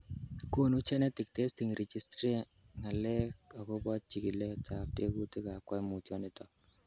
Konu Genetic Testing Registry ng'alek akobo chikiletab tekutab koimutioniton.